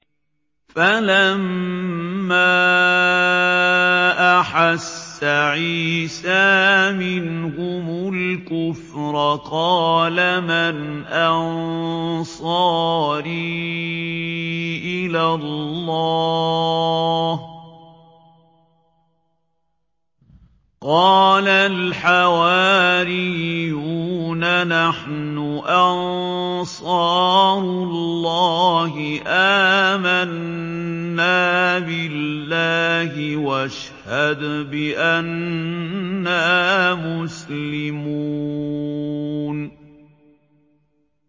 ۞ فَلَمَّا أَحَسَّ عِيسَىٰ مِنْهُمُ الْكُفْرَ قَالَ مَنْ أَنصَارِي إِلَى اللَّهِ ۖ قَالَ الْحَوَارِيُّونَ نَحْنُ أَنصَارُ اللَّهِ آمَنَّا بِاللَّهِ وَاشْهَدْ بِأَنَّا مُسْلِمُونَ